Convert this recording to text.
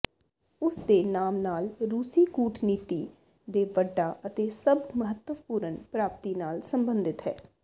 ਉਸ ਦੇ ਨਾਮ ਨਾਲ ਰੂਸੀ ਕੂਟਨੀਤੀ ਦੇ ਵੱਡਾ ਅਤੇ ਸਭ ਮਹੱਤਵਪੂਰਨ ਪ੍ਰਾਪਤੀ ਨਾਲ ਸੰਬੰਧਿਤ ਹੈ